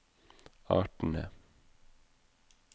artene